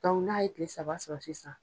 n'a ye kile saba sɔrɔ sisan